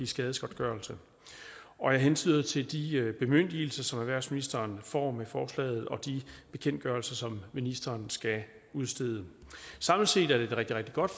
skadesgodtgørelse jeg hentyder til de bemyndigelser som erhvervsministeren får med forslaget og de bekendtgørelser som ministeren skal udstede samlet set er det et rigtig rigtig godt